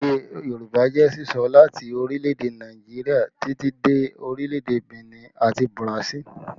Èdè Yorùbá jẹ́ sísọ láti orílẹ̀ èdè Nàìjíríà títí dé orílẹ̀ èdè Benin àti Burasili